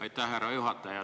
Aitäh, härra juhataja!